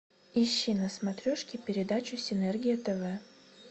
ищи на смотрешке передачу синергия тв